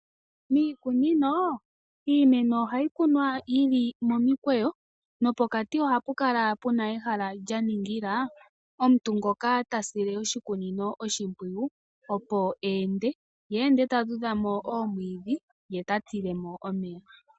Miikunino iimeno ohayi kunwa yi li momikweyo nopokati ohapu kala pu na ehala lya ningila omuntu ngoka ta sile oshikunino oshimpwiyu, opo e ende, ye ende ta dhudha mo oomwiidhi ye ta tile mo omeya.